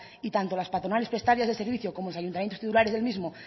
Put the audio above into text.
y tanto las patronales prestatarias de servicios como los ayuntamientos titulares del mismo